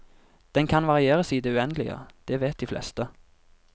Den kan varieres i det uendelige, det vet de fleste.